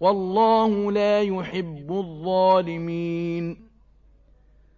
وَاللَّهُ لَا يُحِبُّ الظَّالِمِينَ